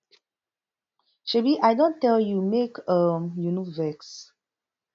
shebi i don tell you make um you no vex